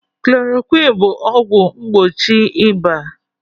Chloroquine bụ ọgwụ mgbochi ịba.